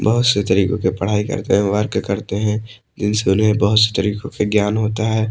बहुत तरीको के पढ़ाई करते है वर्क करते है इनसे उन्हे बहोत से तरीको के ज्ञान होता है।